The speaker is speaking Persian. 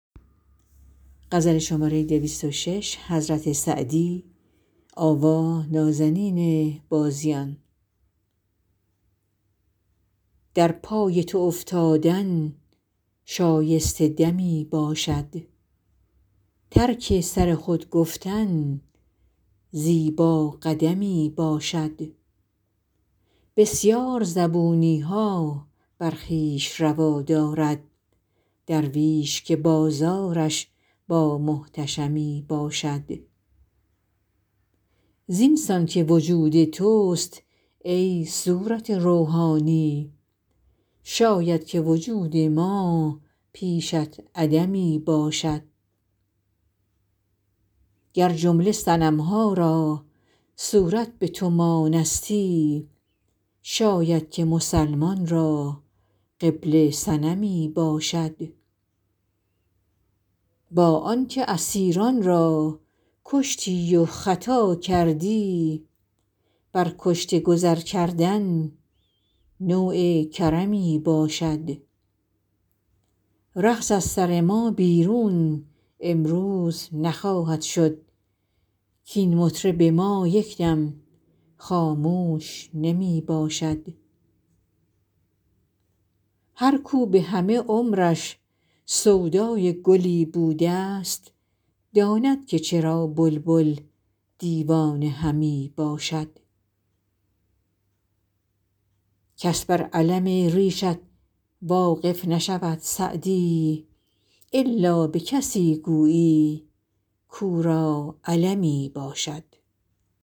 در پای تو افتادن شایسته دمی باشد ترک سر خود گفتن زیبا قدمی باشد بسیار زبونی ها بر خویش روا دارد درویش که بازارش با محتشمی باشد زین سان که وجود توست ای صورت روحانی شاید که وجود ما پیشت عدمی باشد گر جمله صنم ها را صورت به تو مانستی شاید که مسلمان را قبله صنمی باشد با آن که اسیران را کشتی و خطا کردی بر کشته گذر کردن نوع کرمی باشد رقص از سر ما بیرون امروز نخواهد شد کاین مطرب ما یک دم خاموش نمی باشد هر کاو به همه عمرش سودای گلی بوده ست داند که چرا بلبل دیوانه همی باشد کس بر الم ریشت واقف نشود سعدی الا به کسی گویی کاو را المی باشد